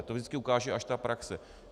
A to vždycky ukáže až ta praxe.